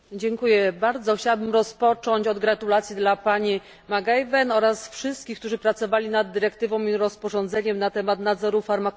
Chciałabym rozpocząć od gratulacji dla pani McAvan oraz wszystkich, którzy pracowali nad dyrektywą i rozporządzeniem na temat nadzoru farmakologicznego.